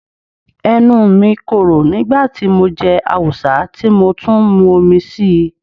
Ẹnu mi korò nígbà tí mo jẹ awùsá tí mo tún mun omi síi.